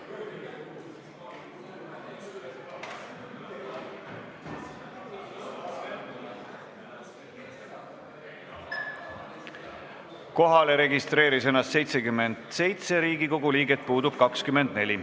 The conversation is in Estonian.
Kohaloleku kontroll Kohalolijaks registreeris ennast 77 Riigikogu liiget, puudub 24.